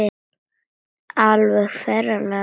Alveg ferlega vel.